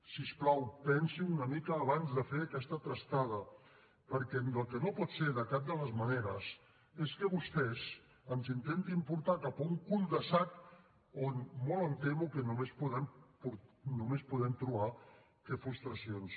si us plau pensin una mica abans de fer aquesta trastada perquè el que no pot ser de cap de les maneres és que vostès ens intentin portar cap a un cul de sac on molt em temo que només podem trobar frustracions